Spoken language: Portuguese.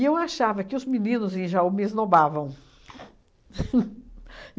eu achava que os meninos em Jaú me esnobavam.